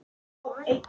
Jóhann í